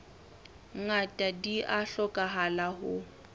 ngata di a hlokahala ho